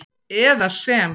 eða sem